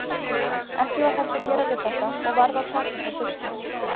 Ekki var hægt að gera við þetta og varð að taka þá burtu.